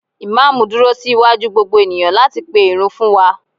imamu dúró sí waju gbogbo eniyan lati pe Irun fún wan